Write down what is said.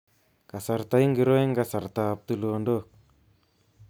Kasarta ngiro eng kasartab tulondok